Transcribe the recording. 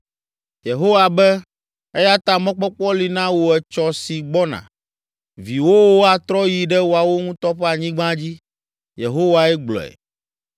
Yehowa be, “Eya ta mɔkpɔkpɔ li na wò etsɔ si gbɔna. Viwòwo atrɔ ayi ɖe woawo ŋutɔ ƒe anyigba dzi.” Yehowae gblɔe.